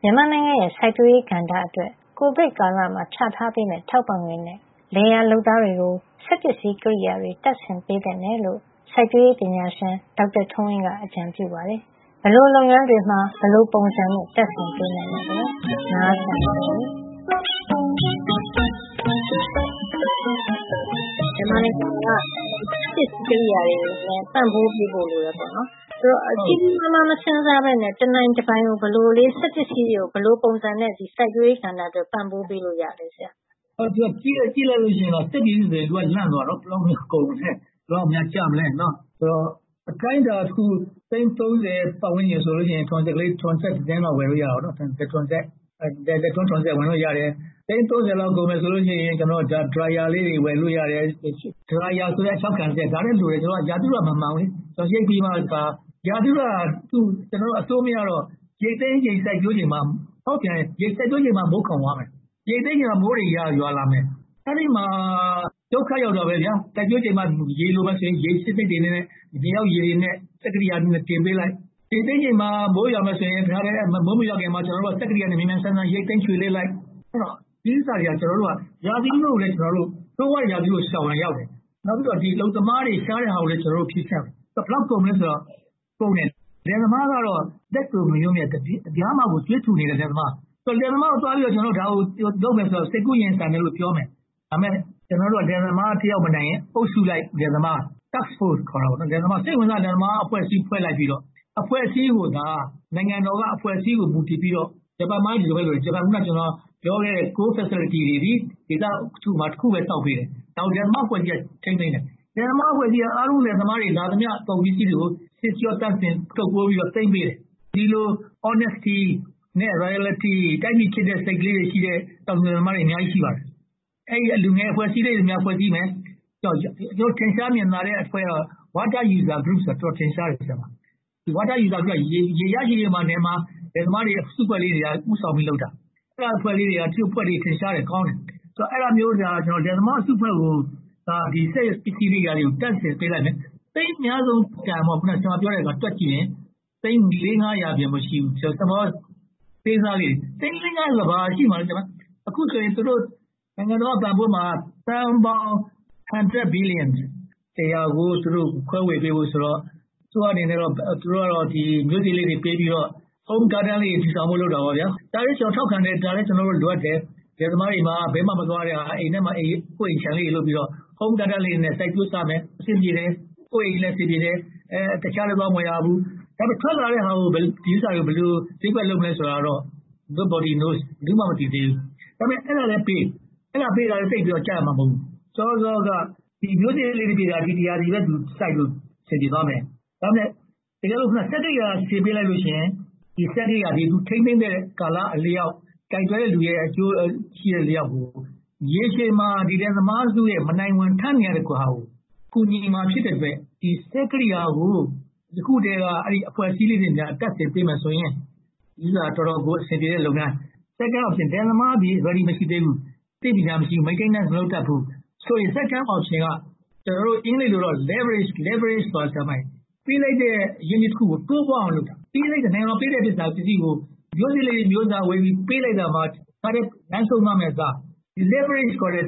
မြန်မာနိုင်ငံစိုက်ပျိုးရေးကို စက်ပစ္စည်းကရိယာတွေနဲ့ ပံ့ပိုးပေးဖို့ လိုတယ်ဆိုတော့ ကြီးကြီးမားမား မစဉ်းစားဘဲနဲ့ တနိုင်တပိုင်ကို ဘယ်လိုစက်ပစ္စည်းတွေကို၊ ဘယ်လိုပုံစံနဲ့ စိုက်ပျိုးရေးကဏ္ဍအတွက် ပံ့ပိုးပေးလို့ ရပါသလဲ၊ ဆရာ။ ကြည့်လိုက်လို့ရှိရင် စက်ပစ္စည်းဆိုရင် လန့်သွားကြတယ်။ ဘယ်လောက်ကုန်မလဲ။ ဘယ်လောက်များကျမလဲပေါ့။ အတိုင်းအတာတခုအနေနဲ့ သိန်း ဆိုရင် ထွန်းစက်ကလေးတစီးလောက် ဝယ်လို့ရတယ်။ သိန်း လောက် ကုန်မယ်ဆိုရင် Dryer လေးတွေ ဝယ်လို့ရတယ်။ Dryer ဆိုတဲ့ အခြောက်ခံစက်လည်း လိုတယ်။ ရာသီဥတုက မမှန်တော့၊ ရာသီဥတုက အဆိုးမရတော့ ရိတ်သိမ်းချိန်၊ စိုက်ပျိုးချိန်မှာ မိုးခေါင်းသွားမယ်။ ရိတ်သိမ်းချိန်မှာ မိုးတွေရွာလာမယ်။ အဲဒီမှာ ဒုက္ခရောက်ကြတယ်။ စိုက်ပျိုးချိန်မှာ ရေလိုမယ်ဆိုရင် ရေပေးစက်တွေနဲ့ မြေအောက်ရေတွေကို စက်ကရိယာတွေနဲ့ တင်ပေးလိုက်။ ရိတ်သိမ်းချိန်မှာ မိုးရွာမယ်ဆိုရင် မိုးမရွာခင်မှာ စက်ကရိယာနဲ့ မြန်မြန်ရိတ်သိမ်း၊ ချွေလဲှလိုက်၊ ဒီကိစ္စတွေက ရာသီဥတုကိုလည်း ကျနော်တို့ ဆိုးရွာတဲ့ရာသီဥတုကို ရှောင်တာလဲရောက်တယ်။ နောက် အလုပ်သမားတွေ ရှားတဲ့ဟာကိုလဲ ဖြေရှင်းရာရောက်တယ်။ ဘယ်လောက် ကုန်မလဲဆိုတော့ ကုန်တယ်။ လယ်သမားကတော့ ကြွေးထူနေတဲ့ လယ်သမား။ လယ်သမားကိုသွားပြီးတော့ ဒါကိုလုပ်မယ်ဆိုရင် စိတ်ကူးရင်ဆန်တယ်လို့ ပြောလိမ့်မယ်။ ဒါပေမဲ့ လယ်သမားတယောက် မနိုင်ရင်၊ အုပ်စုလိုက်လယ်သမား Task Force စိတ်ဝင်စားတဲ့ လယ်သမားအဖွဲ့အစည်း ဖွဲ့လိုက်ပြီးတော့ အဖွဲ့အစည်းကို နိုင်ငံတော်က အဖွဲ့အစည်းကို မူတည်ပြီးတော့ - ဂျပန်မှာလည်း ဒီလိုပဲလုပ်တယ်။ အခုနပြောခဲ့တဲ့ ဂျပန်မှာ Core Facilities တွေသည် ဒေသတခုမှာ တစ်ခုပဲ ဆောက်ပေးတယ်။ နောက် လယ်သမားအဖွဲ့အစည်းက ထိန်းသိမ်းတယ်။ လယ်သမားအဖွဲ့အစည်းက အားလုံးလယ်သမားတွေ လာသမျှ ကုန်ပစ္စည်းတွေကို ဆေးကြောသန့်စင်၊ ထုတ်ပိုးပြီးတော့ သိမ်းပေးတယ်။ ဒီလို Honesty, Loyalty တိုင်းပြည်ချစ်တဲ့ စိတ်ကလေးတွေရှိတဲ့ တောင်သူလယ်သမားတွေ အများကြီး ရှိပါတယ်။ အဲဒီလို အဖွဲ့အစည်းတွေ ဖွဲ့စည်းမယ်။ ထင်ရှားမြင်သာတဲ့ အဖွဲ့ကတော့ Water User Group အတော်ကလေး ထင်ရှားတယ်။ သူတို့က ရေရရှိရေးအတွက် နယ်မှာ အစုအဖွဲ့လေးတွေက စုဖွဲ့ပြီးတော့ လုပ်တာ။ အဲဒီလို အဖွဲ့ကလေးတွေ ထင်ရှားတယ်။ ကောင်းတယ်။ အဲဒီလိုမျိုး လယ်သမားအစုအဖွဲ့ကို ဒီစက်ပစ္စည်းတွေ တပ်ဆင်ပေးလိုက်မယ်။ သိန်းအများဆုံးတန် ဆရာမပြောတာကို တွက်ကြည့်မယ်ဆိုရင် သိန်း အပြင် မရှိဘူး။ အသေးစားလုပ်ငန်း - သိန်း ဆိုတာ ဘာရှိမှာလဲ။ အခုဆိုရင် နိုင်ငံတော်က ပံ့ပိုးမှာ သန်းပေါင်း တစ်ရာ ဘီလီယံ ကို ခွဲဝေပေးဖို့ဆိုတော့ အစိုးရအနေနဲ့ မျိုးစေ့လေးတွေ ပေးပြီးတော့ Home Garden လေးတွေ တည်ထောင်ဖို့ လုပ်တာပေါ့။ ဒါကိုလဲ ကျနော်ထောက်ခံတယ်။ ဒါလဲ လိုအပ်တယ်။ လယ်သမားတွေအနေနဲ့ ဘယ်မှမသွားရဘဲ၊ အိမ်ထဲမှာ ကိုယ့်အိမ်ခြံလေးတွေ လုပ်ပြီးတော့ Home Garden လေးတွေနဲ့ စိုက်ပျိုးစားမယ်ဆိုရင် အဆင်ပြေမယ်။ ကိုယ့်အိမ်လည်း အဆင်ပြေမယ်။ တခြားလဲ သွားမဝယ်ရဘူး။ ထွက်လာမယ့်ဟာတွေကို ဘယ်လိုလုပ်ကိုင်မလဲဆိုတာတော့ Nobody knows ဘယ်သူမှ မသိသေးဘူး။ ဒါပေမဲ့ အဲဒါလဲပေး။ အဲဒါပေးတာက သိပ်လဲကုန်ကျမှာ မဟုတ်ဘူး။ ဒီမျိုးစေ့လေးတွေပေးတာ ဒီရာသီပဲ စိုက်လို့အဆင်ပြေသွားမယ်။ တကယ်လို့ စက်တွေသာ ဆင်ပေးလိုက်မယ်ဆိုရင် ဒီစက်ကရိယာတွေကို ထိန်းသိမ်းသည့်ကာလအလျောက်၊ ကိုင်တွယ်တဲ့လူရဲ့ အကျိုးရှိသလျောက် ရေရှည်မှာ ဒီလယ်သမားစုရဲ့ မနိုင်ဝန် ထမ်းနေရတာကို ကူညီမှာ ဖြစ်တဲ့အတွက် ဒီစက်ကရိယာကို ယခုကတည်းက အဲဒီအဖွဲ့အစည်းလေးတွေမှာ တပ်ဆင်ပေးမယ်ဆိုရင် ဦးစွာတော်တော်ကို အဆင်ပြေမယ့်လုပ်ငန်း။ Second option လယ်သမားက Ready မဖြစ်သေးဘူး။ သိပ်ပညာမတတ်ဘူး။ Maintenance မရှိဘူးဆိုရင် Second option က အင်္ဂလိပ်လိုတော့ leverage ပေးလိုက်တဲ့ အရင်းအနှီးတချို့ကို တိုးပွားအောင် လုပ်တာ။ နိုင်ငံတော် ပေးလိုက်တဲ့ပစ္စည်း - မျိုးစေ့လေးတွေ၊ မြေသြဇာဝယ်ပြီး ပေးလိုက်တဲ့အခါ တခါတည်း လမ်းဆုံးသွားမယ့်အစား၊ ဒီ leverage ခေါ်တဲ့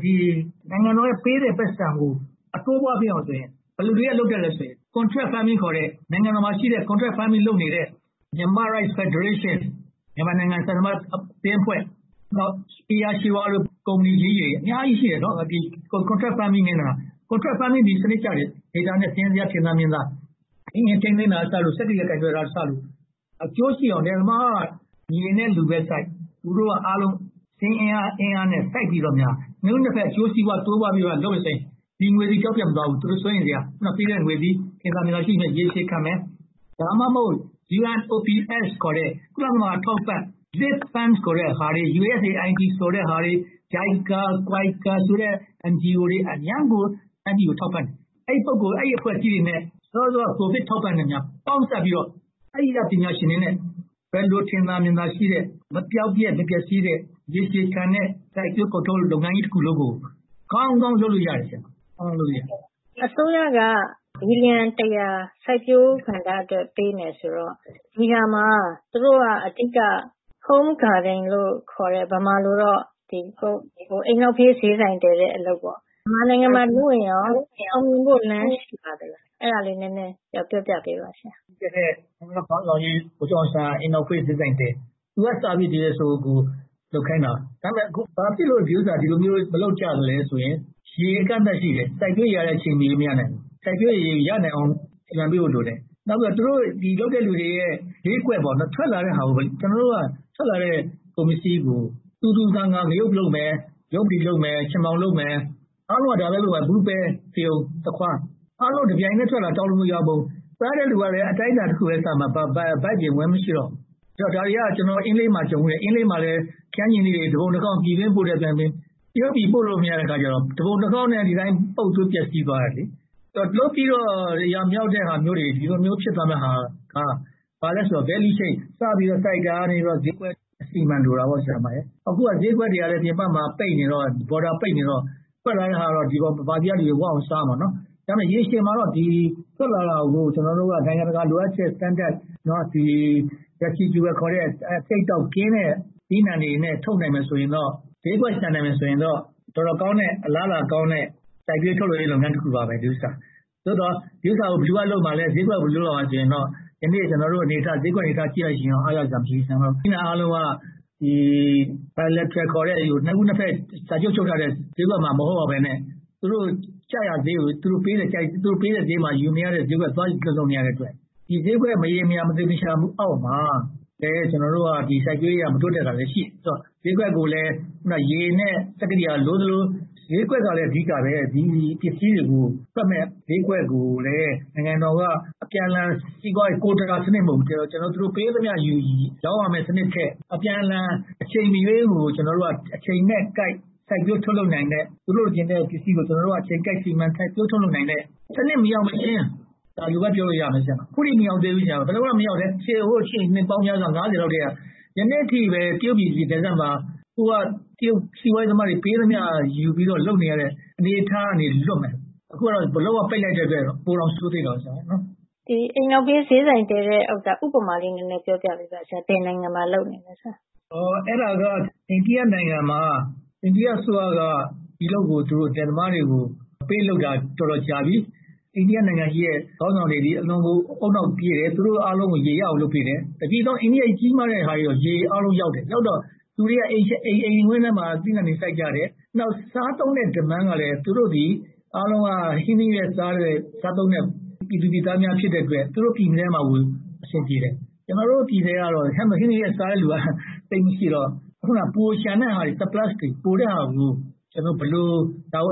နိုင်ငံတော်ကပေးတဲ့ ပိုက်ဆံကို အတိုးအပွားဖြစ်အောင်ဆိုရင် ဘယ်သူတွေက လုပ်တတ်သလဲဆိုရင် Contract Farming ဆိုတဲ့ နိုင်ငံတော်မှာရှိတဲ့ Contract farming လုပ်နေတဲ့ Myanmar’s Rice Federation မြန်မာနိုင်ငံဆန်စပါးအသင်းအဖွဲ့ - ဧရာရွှေဝါလို အသင်းအဖွဲ့ကြီးတွေ အများကြီးရှိတယ်။ Contract Farming က စနစ်ကျပြီး၊ Data နဲ့ စာရင်းဇယား ထင်သာမြင်သာ ရှိတယ်။ အင်ဂျင်ထိန်းသိမ်းတာ၊ စက်ကရိယာ ကိုင်တွယ်တာကစလို့ အကျိုးရှိအောင် လယ်သမားက မြေနဲ့လူပဲစိုက်၊ သူတို့က စာရင်းဇယားနဲ့ စိုက်ပြီးတော့ နှစ်ဦးနှစ်ဘက် အကျိုးစီးပွား တိုးပွားအောင် လုပ်မယ်ဆိုရင် ဒီငွေတွေက ပျောက်ပျက်မသွားဘူး။ သူတို့ စိုးရိမ်စရာ မရှိဘူး။ သူတို့ပေးတဲ့ငွေက ထင်သာမြင်သာ ရှိမယ်။ ရေရှည်ခံမယ်။ ဒါမှမဟုတ် UNOPS ခေါ်တဲ့ ကုလသမဂ္ဂ အထောက်အပံ့ Live Farm, USAID, JICA, ဆိုတဲ့ NGO တွေ အရမ်းကို တိုင်းပြည်ကို ထောက်ပံ့တယ်။ အဲဒီအဖွဲ့အစည်းတွေနဲ့ စောစောက ကိုဗစ် အထောက်အပံ့တွေ ပေါင်းစပ်ပြီးတော့ အဲဒီက ပညာရှင်တွေနဲ့ ဘယ်လိုထင်သာမြင်သာ ရှိတဲ့၊ မပျောက်ပျက်၊ မပျက်ဆီးတဲ့ ရေရှည်ခံတဲ့ စိုက်ပျိုးကုန်ထုတ် လုပ်ငန်းကြီးတခုလုံးကို ကောင်းကောင်းလုပ်လို့ရတယ်။ အစိုးရက ဘီလီယန်တစ်ရာ စိုက်ပျိုးကဏ္ဍအတွက် ပေးမယ်ဆိုတော့ ဒီနေရာမှာ သူတို့က အဓိက Home Garden လို့ခေါ်တဲ့ ဗမာလိုတော့ အိမ်နောက်ဘေး ဈေးဆိုင်တည်တဲ့ အလုပ်ပေါ့။ မြန်မာနိုင်ငံမှာလုပ်ရင် အောင်မြင်ဖို့လမ်း ရှိပါသလား။ အဲဒါလေး နည်းနည်းပြောပြပေးပါ။ လွတ်လပ်ရေးခေါင်းဆောင်ကြီး ဗိုလ်ချုပ်အောင်ဆန်းက အိမ်နောက်ဘေး ဈေးဆိုင်တည်။ သူကစပြီး ဒီဟာကို လုပ်ခိုင်းတာ။ ဒါပေမဲ့ ဒီဟာကို ဘာဖြစ်လို့ မလုပ်ကြသလဲဆိုရင် ရေအကန့်အသတ် ရှိတယ်။ စိုက်ပျိုးရေကို အချိန်မရွေး မရနိုင်ဘူး။ စိုက်ပျိုးရေရနိုင်ဖို့ကို စီမံပေးဖို့ လိုတယ်။ နောက်ပြီးတော့ လုပ်တဲ့လူတွေအတွက် ဈေးကွက် - ထွက်လာတဲ့ ကုန်ပစ္စည်းကို သူသူငါငါ ငရုတ်လုပ်မယ်။ ရုံပတေးသီးလုပ်မယ်။ ချဉ်ပေါင်လုပ်မယ်။ အားလုံးက ဒါပဲလုပ်ကြမှာ - ဘူး၊ ပဲ၊ ဖရုံ၊ သခွါး - အားလုံးတပြိုင်တည်း ထွက်လာပြီး တောင်ပုံယာပုံ - စားတဲ့လူကလဲ အတိုင်းအတာတခုပဲ စားမှာ။ ဒါတွေကို ကျနော်တို့ အင်းလေးမှာ ကြုံဖူးတယ်။ အင်းလေးမှာ ခရမ်းချဉ်သီးတွေ တပုံတခေါင်း ပြည်တွင်းမှာ။ တရုတ်ပြည် ပို့လို့မရတော့ တပုံတခေါင်းနဲ့ ပုပ်သိုးပျက်ဆီးသွားကြတယ်။ ဒီလိုလုပ်ပြီးတော့ အရာမမြောက်တာတွေ။ ဒီလိုဖြစ်သွားမယ့်ဟာက ဘာလဲဆိုတော့ Value Chage - စပြီးတော့ စိုက်ပျိုးတာကနေ ဈေးကွက်အထိ အစီအမံ လိုအပ်တယ်။ အခုက ဈေးကွက်တွေက ပြင်ပမှာ ပိတ်နေတော့ Border တွေ ပိတ်နေတော့ ထွက်လာတဲ့ဟာတွေကို ပြည်တွင်းကလူတွေ ဝအောင်စားနိုင်တယ်။ ဒါပေမဲ့ ရေရှည်မှာတော့ ထွက်လာတာကို ကျနော်တို့က နိုင်ငံတကာလိုအပ်ချက် Standard residual ခေါ်တဲ့ အဆိပ်အတောက်ကင်းတဲ့ သီးနံှတွေနဲ့ ထုတ်နိုင်မယ်ဆိုရင်တော့ ဈေးကွက်ရှာနိုင်မယ် ဆိုရင်တော့ တော်တော်ကောင်းမယ့်၊ အလားအလာကောင်းတဲ့ စိုက်ပျိုးရေးထုတ်လုပ်ရေး လုပ်ငန်းတခုပါပဲ။ သို့သော် ဒီဥစ္စာကို ဘယ်သူက လုပ်မလဲ။ ဈေးကွက်ဖော်ဆောင်ရေးကို ဘယ်သူလုပ်မလဲဆိုရင်တော့ ယနေ့ ကျနော့် ဈေးကွက်အနေအထားကို ကြည့်လိုက်မယ်ဆိုရင် အားရကျေနပ်စရာ မရှိဘူး။ သီးနံှအားလုံးက Bilateral ခေါ်တဲ့ နှစ်ဦးနှစ်ဘက် စာချုပ်ချုပ်ထားတဲ့ ဈေးကွက်မှာ မဟုတ်ရဘဲနဲ့ သူတို့ကြိုက်ရာဈေးကို သူတို့ပေးတဲ့ ဈေးမှာ ယူနေရတဲ့ ဈေးကွက်မှာ သွားရောင်းဝယ်နေရတော့ ဒီဈေးကွက် မရေမရာ၊ မသေချာမှုအောက်မှာ ဒီစိုက်ပျိုးရေးက မတိုးတက်တာလဲ ရှိနေတယ်။ ဈေးကွက်ကိုလဲ ရေနဲ့ စက်ကရိယာ လိုသလို၊ ဈေးကွက်ကလဲ အဓိကပဲ။ ဒီပစ္စည်းတွေကို တွက်မယ့်ဈေးကွက်ကိုလဲ နိုင်ငံတော်က အပြန်အလှန် ကိုတာစနစ်မဟုတ်ဘူး။ သူတို့ပေးသမျှကိုယူ၊ ရောင်းရမယ့်စနစ်ထက် အပြန်အလှန် အချိန်မရွေးကို အချိန်နဲ့ကိုက် စိုက်ပျိုးထုတ်လုပ်နိုင်တဲ့။ သူတို့လိုချင်တဲ့ ပစ္စည်းတွေကို ကျနော်တို့က အချိန်ကိုက်စိုက်ပျိုးထုတ်လုပ်နိုင်မယ့် စနစ် မရောက်မချင်း - အခုအထိ မရောက်သေးဘူး။ ဟိုရှေ့နှစ်ပေါင်းများစွာ ကနေ ဒီနေ့အထိပဲ တရုတ်ပြည်နယ်စပ်မှာ ဟိုက တရုတ်စီးပွားရေးသမားတွေ ပေးသမျှယူပြီးတော့ လုပ်နေရတဲ့ အနေအထားကနေ လွတ်မယ်။ အခုကတော့ လုံးဝပိတ်လိုက်တဲ့အတွက် ပိုတောင်ဆိုးပါသေးတယ်။ အိမ်နောက်ဘေးဈေးဆိုင်တည်တဲ့ဟာလေးကို ဥပမာပေး နည်းနည်းပြောပြပါ။ ဘယ်နိုင်ငံတွေမှာ လုပ်နေသလဲဆိုတာ။ အဲဒါက အိန္ဒိယနိုင်ငံမှာ အိန္ဒိယအစိုးရက ဒီအလုပ်ကို ပေးလုပ်ထားတာ တော်တော်ကြာပြီ။ အိန္ဒိယနိုင်ငံက ခေါင်းဆောင်တွေသည် အတော်ကို ဦးနှောက်ပြေးတယ်။ သူတို့အားလုံးကို ရေရအောင် လုပ်ပေးတယ်။ ဒီလောက်ကြီးမားတဲ့ နိုင်ငံကြီးမှာ တပြည်လုံးကို ရေရောက်တယ်။ ရောက်တော့ လူတွေက အိမ်ဝင်းထဲမှာ သီးနံှတွေ စိုက်ပျိုးကြတယ်။ နောက် စားသုံးတဲ့ Demand ကလဲ သူတို့သည် အားလုံးက ဟင်းသီးဟင်းရွက် စားသုံးတဲ့ ပြည်သူပြည်သားတွေ ဖြစ်တဲ့အတွက် သူတို့ပြည်ထဲမှာကို အဆင်ပြေတယ်။ ကျနော်တို့ဆီမှာက ဟင်းသီးဟင်းရွက် စားတဲ့လူက သိပ်မရှိတော့ ပိုလျှံတဲ့ဟာတွေ Surplus တွေကို ဘယ်လို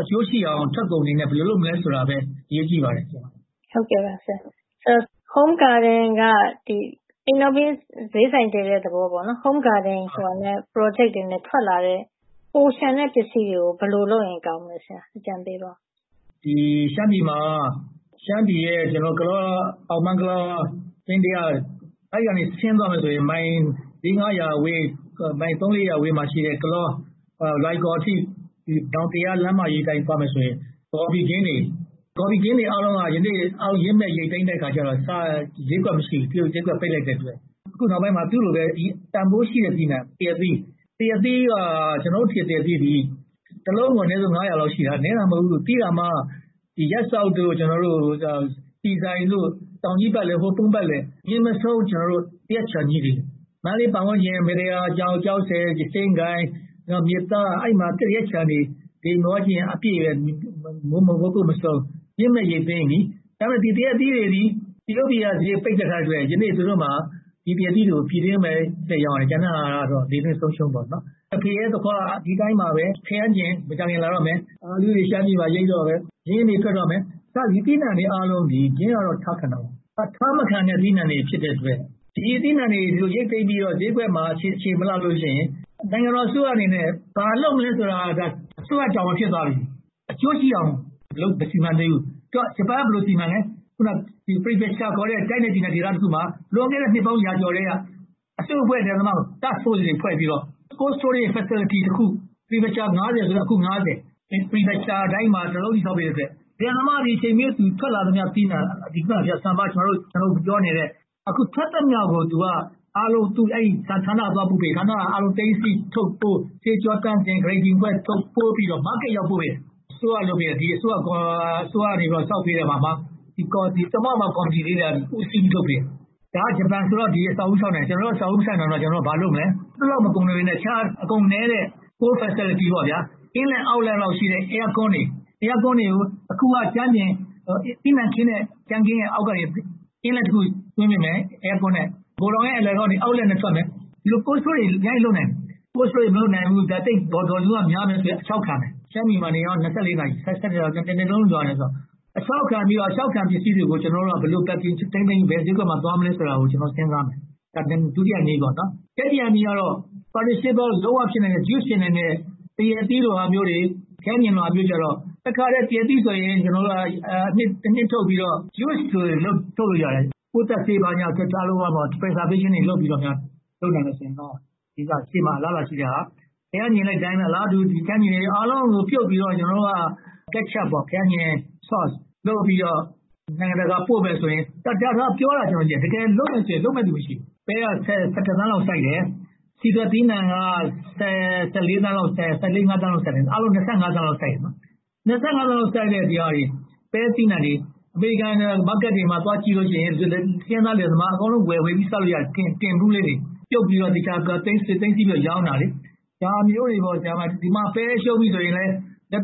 အကျိုးရှိအောင် ထုတ်ကုန်အနေနဲ့ ဘယ်လိုလုပ်မလဲဆိုတာကိုပဲ အရေးကြီးပါတယ်။ Home Garden က အိမ်နောက်ဘေး ဈေးဆိုင်တည်တဲ့ သဘောပေါ့။ Home Garden project နဲ့ ထွက်လာတဲ့ ပိုလျှံတဲ့ပစ္စည်းတွေကို ဘယ်လိုလုပ်ရင်ကောင်းမလဲ။ အကြံပေးပါအုံး။ ရှမ်းပြည်မှာ ကလော၊ အောင်ပန်း၊ ပင်းတယ - အဲဒီကနေ ဆင်းသွားတယ်ဆိုရင် မိုင်လေးငါးရာဝေး၊ သုံးလေးရာဝေးမှာရှိတဲ့ ကလော-လွိုင်ကော်အထိ --လမ်းမကြီးအတိုင်း သွားမယ်ဆိုရင် ဂေါ်ဖီခင်းတွေ - သူတို့အားလုံးက ယနေ့ ရင့်မှည့်ရိတ်သိမ်းတဲ့အခါမှာ ဈေးကွက်မရှိဘူး။ တရုတ်ဈေးကွက် ပိတ်လိုက်တဲ့အတွက်။ အခုနောက်ပိုင်းမှာ သူလိုပဲ တန်းဖိုးရှိတဲ့ သီးနံှ သရက်သီး။ ကျနော်တို့ဆီက သရက်သီးက တစ်လုံးကို ငါးရာလောက် ရှိတယ်။ ရပ်စောက်၊ ဆီဆိုင်တို့ တောင်ကြီးပတ်လည်၊ ဟိုးပုန်ပတ်လည် မျက်စိတဆုံး သရက်ခြံကြီးတွေ မန္တလေးပတ်ဝန်းကျင် မတ္တရာ၊ ကျောက်ဆည်၊ စဉ့်ကိုင်၊ မြစ်သား - အဲဒီနေရာတွေမှာ သရက်ခြံတွေ အပြည့်ပဲ။ ရင့်မှည့်ရိတ်သိမ်းပြီ။ ဒါပေမဲ့ ဒီသရက်သီးတွေကို တရုတ်ပြည်က ဈေးကွက်ပိတ်ထားတဲ့အတွက် ဒီနေ့ သရက်သီးတွေကို ပြည်တွင်းပဲ လှည့်ရောင်းရတယ်။ ကျန်တဲ့ဟာတွေကတော့ လေလွှင့်ဆုံးရှုံးသွားကြတယ်။ ဖရဲ၊ သခွား ဒီအတိုင်းပါပဲ။ ခရမ်းချဉ် မကြာခင် လာတော့မယ်။ အားလူးတွေ ရှမ်းပြည်မှာ ရိတ်တော့မယ်။ ဒီသီးနံှတွေအားလုံးသည် အထားမခံတဲ့ အသီးအနံှတွေ ဖြစ်တဲ့အတွက် ဒီအသီးအနံှတွေ ရိတ်သိမ်းပြီးတော့ ဈေးကွက်မှာ အခြေမလှလို့ရှိရင် နိုင်ငံတော်အစိုးရအနေနဲ့ ဘာလုပ်မလဲဆိုတာ အစိုးရတာဝန် ဖြစ်သွားပြီ။ အကျိုးရှိအောင် မစီမံပေးဘူး။ ဂျပန်က ဘယ်လိုစီမံသလဲ။ Prefecture ခေါ်တဲ့ တိုင်းနဲ့ပြည်နယ် ဒေသတခုမှာ လွန်ခဲ့တဲ့ နှစ်ပေါင်းရာကျော်ကတည်းက အစုအဖွဲ့ လယ်သမားတွေကို Task Force တွေ ဖွဲ့ပြီးတော့ Cold Storage Facility တခုဆီ၊ Prefecture ဆိုလဲ အခု prefecture တိုင်းမှာ တစ်ခုဆီ ဆောက်ပေးတဲ့အတွက် လယ်သမားအနေနဲ့ အချိန်မရွေး ထွက်လာတဲ့ အသီးအနံှတွေ - ကျနော်တို့ပြောနေတဲ့ ထွက်သမျှကို အဲဒီဌာနတွေက သိမ်းဆည်း၊ ထုပ်ပိုး၊ သန့်စင် Grading ခွဲပြီးတော့ ဈေးကွက်အရောက်ပို့တယ်။ ဒီအစိုးရက ဆောက်ပေးတဲ့ သမာဝါယမကော်မတီလေးက ဦးစီးပြီး လုပ်ပေးတယ်။ ဒါက ဂျပန်အစိုးရက အဆောက်အဦး ဆောက်လုပ်ပေးတာ။ အဆောက်အဦး မဆောက်လုပ်တဲ့ ကျနော်တို့က ဘာလုပ်မလဲ။ အဲဒီလောက် မကုန်ပေမယ့် အခြားအကုန်နည်းတဲ့ Old Facility – Inlet / Outlet လောက်ရှိတဲ့ Air-conditioner တွေကို တခုက သီးနံှခင်းတဲ့ ကြမ်းခင်းကနေ Inlet တခု သွင်းပေးမယ်။ ဂိုထောင်ရဲ့အလယ်ကနေ Outlet နဲ့ ထွက်မယ်။ ဒီလို Cold Storage တွေ အများကြီးလုပ်နိုင်တယ်။ Cold Storage တွေ မလုပ်နိုင်ဘူး၊ Volume က များမယ်ဆိုရင် အခြောက်ခံမယ်။ အခြောက်ခံပြီးတော့ အခြောက်ခံပစ္စည်းတွေကို ကျနော်တို့က ဘယ်လို Packing လုပ်၊ ဘယ်ဈေးကွက်ကို သွားမလဲဆိုတာကို စဉ်းစားမယ်။ တတိယနည်းကတော့ Juice ဖြစ်နိုင်တဲ့ သရက်သီး၊ ခရမ်းချဉ်တွေကိုတော့ တခါတည်း သရက်သီးဆိုရင် အနှစ်ထုတ်ပြီးတော့ ဖျော်ရည်ထုတ်လို့ရတယ်။ ပိုးသတ်ဆေးတွေ ဘာတွေသန့်စင်ပြီးတော့ လုပ်နိုင်မယ်ဆိုရင်တော့ ရမယ်။ ခရမ်းချဉ်သီးတွေကိုလဲ အလားတူ ပြုပ်ပြီးတော့ Ketchup ခရမ်းချဉ် Sauce လုပ်ပြီးတော့ နိုင်ငံတကာပို့နိုင်တယ်။ ဒါက ပြောတာပဲ ရှိတယ်။ တကယ်လုပ်မယ်ဆိုရင် လုပ်မယ့်လူ မရှိဘူး။ ပဲက ဆယ့်တစ်သန်းလောက် စိုက်တယ်။ ဆီထွက်သီးနံှက ဆယ့်လေးငါးသန်းလောက် စိုက်တယ်။ အားလုံး သန်းလောက် စိုက်တယ်။ ဒီလောက်စိုက်တဲ့ ပဲသီးနံှတွေကို အမေရိကန်ဈေးကွက်တွေမှာ သွားကြည့်လို့ရှိရင် ဆင်းရဲသားလယ်သမား အကုန်လုံး ဝယ်စားလို့ရတယ်။ Tin ဘူးလေးတွေနဲ့ ပြုပ်ပြီးတော့ရောင်းတာ။ ဒါမျိုးတွေပေါ့။ ဒီမှာ ပဲရှုံးပြီးဆိုရင် လက်